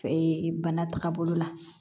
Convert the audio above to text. Ee bana taga bolo la